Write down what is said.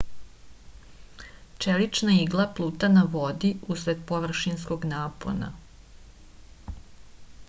čelična igla pluta na vodi usled površinskog napona